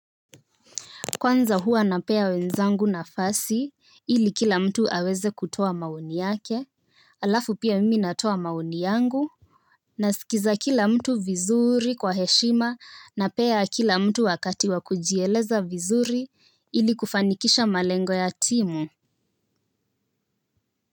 Kwanza huwa napea wenzangu nafasi ili kila mtu aweze kutoa maoni yake alafu pia mimi natoa maoni yangu. Nasikiliza kila mtu vizuri kwa heshima napea kila mtu wakati wa kujieleza vizuri ili kufanikisha malengo ya timu.